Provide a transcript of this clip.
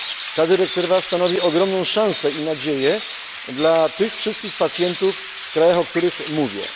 Ta dyrektywa stanowi więc ogromną szansę i nadzieję dla tych wszystkich pacjentów w krajach, o których mówię.